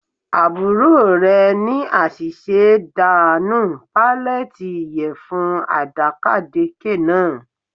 Àbúrò rẹ̀ ní àṣìṣe dà nù pallete ìyẹ̀fun àdàkàdekè náà